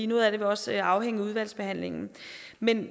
noget af det vil også afhænge af udvalgsbehandlingen men